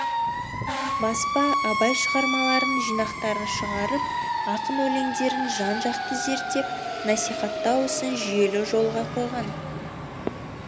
баспа абай шығармаларының жинақтарын шығарып ақын өлеңдерін жан жақты зерттеп насихаттау ісін жүйелі жолға қойған